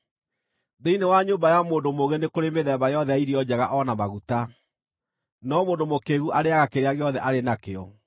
Thĩinĩ wa nyũmba ya mũndũ mũũgĩ nĩ kũrĩ mĩthemba yothe ya irio njega o na maguta, no mũndũ mũkĩĩgu arĩĩaga kĩrĩa gĩothe arĩ nakĩo.